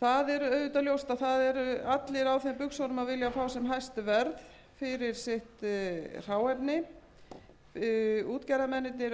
það er auðvitað ljóst að það eru allir á þeim buxunum að vilja fá sem hæst verð fyrir sitt hráefni útgerðarmennirnir vilja auðvitað fá sem hæst verð fyrir sitt